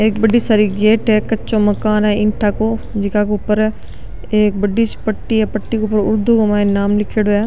एक बड़ी सारी गेट हैकच्चो माकन है इट्टा को जेका ऊपर एक बड़ी सी पट्टी है पट्टी के ऊपर उर्दू के मायने नाम लिखियोंडो है।